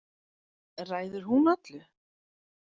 Ræður hún öllu?